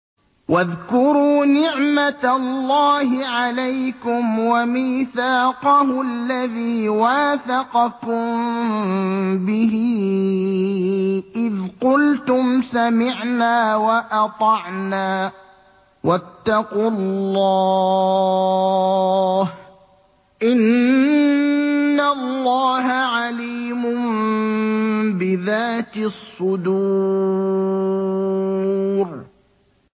وَاذْكُرُوا نِعْمَةَ اللَّهِ عَلَيْكُمْ وَمِيثَاقَهُ الَّذِي وَاثَقَكُم بِهِ إِذْ قُلْتُمْ سَمِعْنَا وَأَطَعْنَا ۖ وَاتَّقُوا اللَّهَ ۚ إِنَّ اللَّهَ عَلِيمٌ بِذَاتِ الصُّدُورِ